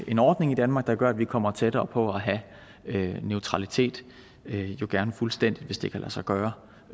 en ordning i danmark der gør at vi kommer tættere på at have neutralitet jo gerne fuldstændig hvis det kan lade sig gøre